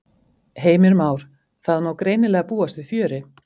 Heimir Már: Það má greinilega búast við fjöri?